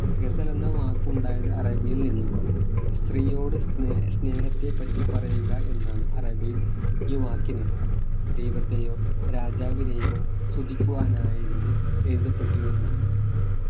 ഗസൽ എന്ന വാക്കുണ്ടായത് അറബിയിൽ നിന്നുമാണ് സ്ത്രീയോട് സ്നേ സ്നേഹത്തെപ്പറ്റി പറയുക എന്നാണ് അറബിയിൽ ഈ വാക്കിനർത്ഥം ദൈവത്തെയോ രാജാവിനെയോ സ്തുതിക്കുവാനായിരുന്നു എഴുതപ്പെട്ടിരുന്ന